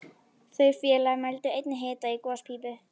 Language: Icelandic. Þeir félagar mældu einnig hita í gospípu